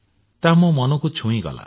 ତାହା ମୋ ମନକୁ ଛୁଇଁଗଲା